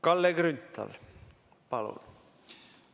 Kalle Grünthal, palun!